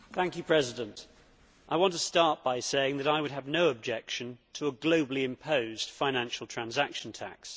Mr President, I want to start by saying that I would have no objection to a globally imposed financial transaction tax.